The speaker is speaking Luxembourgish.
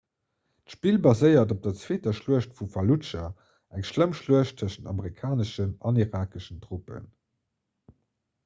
d'spill baséiert op der zweeter schluecht vu falludscha eng schlëmm schluecht tëschent amerikaneschen an irakeschen truppen